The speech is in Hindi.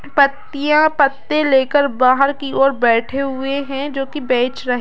पत्तियाँ पत्ते ले कर बाहर की और बैठे हुए हैं जोकि बेच रहें --